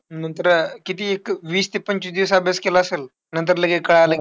नंतर अं किती एक वीस ते पंचवीस दिवस अभ्यास केला असेल, नंतर लगेच कळालं,